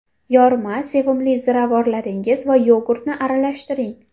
Yorma, sevimli ziravorlaringiz va yogurtni aralashtiring.